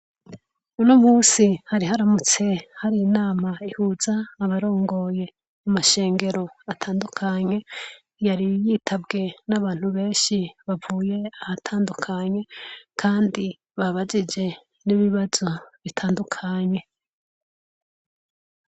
Uno munsi hari haramutse hari inama ihuza abarongoye amasengero atandukanye yari yitabwe n'abantu benshi bavuye ahantandukanye kandi babajije n'ibibazo bitandukanye.